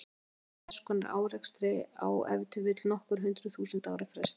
Búast má við þess konar árekstri á ef til vill nokkur hundruð þúsund ára fresti.